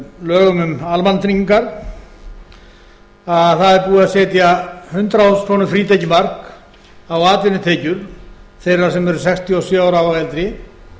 lögum um almannatryggingar að það er búið að setja hundrað þúsund króna frítekjumark á atvinnutekjur þeirra sem eru sextíu og sjö ára og eldri